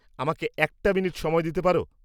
আমাকে একটা মিনিট সময় দিতে পার?